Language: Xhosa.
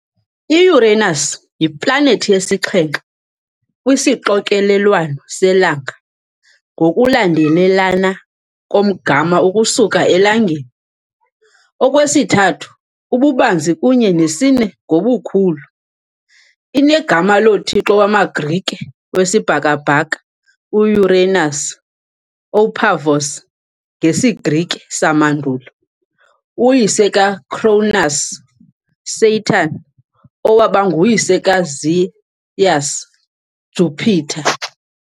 I-Uranus yiplanethi yesixhenxe kwisixokelelwano selanga ngokulandelelana komgama ukusuka eLangeni, okwesithathu ububanzi kunye nesine ngobukhulu. Inegama lothixo wamaGrike wesibhakabhaka u-Uranus, Οὐρανός ngesiGrike samandulo, uyise kaCronus, Saturn, owaba nguyise kaZeus, Jupiter.